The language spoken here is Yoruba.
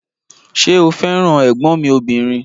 Ṣé o fẹ́ràn ẹ̀gbọ́n mi ọbìnrin?